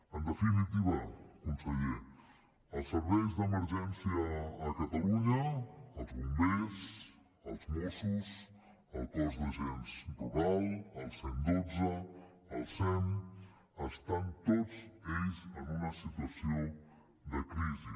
en definitiva conseller els serveis d’emergència a catalunya els bombers els mossos el cos d’agents rurals el cent i dotze el sem estan tots ells en una situació de crisi